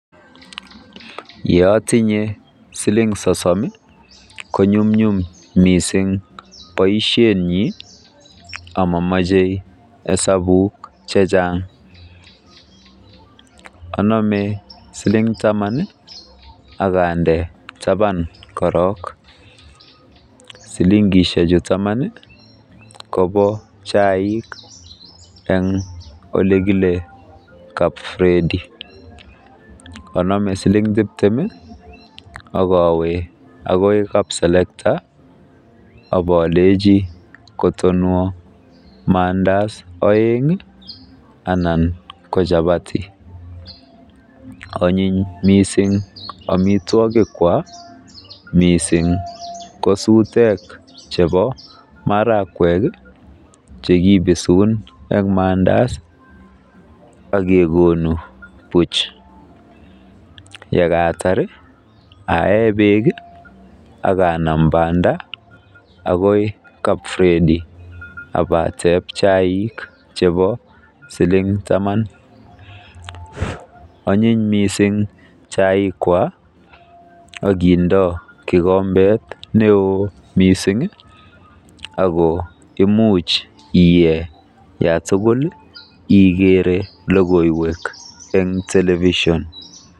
Ye otinye siling sosom ko nyumnyum mising boisienyin, amomoche hesabuk che chang, anome siling taman ak ande taban korong, silingeshek chu taman kobo chaik en ole kile Kap Fredy, anome siling tibtem ak awe akoi kap selekta ak olenchi kotonwo maandazi oeng ana ko chapati onyiny mising amitwogik kwak miisng, ko sutek chbeo marakwek che kibisun en maandazi ak kegonu buch ye kaatar aae beek ak anam banda agoi kap Fredy ak ateb chaik chebo siling taman onyiny mising chaik kwak ak kindo kigombet neo mising ago imuch iye yatugkuligere lokoiywek en television